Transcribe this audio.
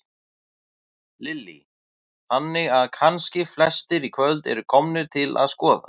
Lillý: Þannig að kannski flestir í kvöld eru komnir til að skoða?